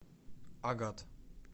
агат